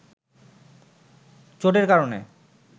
চোটের কারণে